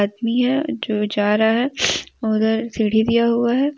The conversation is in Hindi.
यह जो जा रहा है उधर सीढी दिया हुआ है।